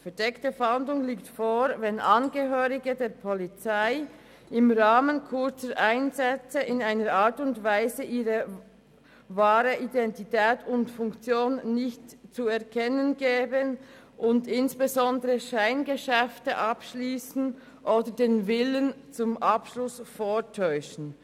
Eine verdeckte Fahndung liegt vor, wenn Angehörige der Polizei im Rahmen kurzer Einsätze in einer Art und Weise ihre wahre Identität und Funktion nicht zu erkennen geben und insbesondere Scheingeschäfte abschliessen oder den Willen zum Abschluss vortäuschen.